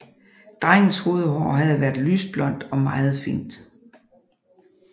Drengens hovedhår havde været lysblondt og meget fint